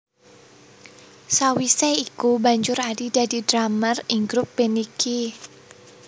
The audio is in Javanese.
Sawise iku banjur Adi dadi drummer ing grup band iki